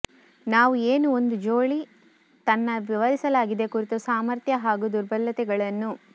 ನಾವು ಏನು ಒಂದು ಜೋಲಿ ತನ್ನ ವಿವರಿಸಲಾಗಿದೆ ಕುರಿತು ಸಾಮರ್ಥ್ಯ ಹಾಗೂ ದುರ್ಬಲತೆಗಳನ್ನು